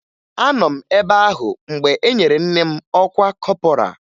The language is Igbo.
Anọ m ebe ahụ mgbe e nyere nne m ọkwa kọpọraa